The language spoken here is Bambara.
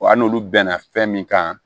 Wa hali n'olu bɛnna fɛn min kan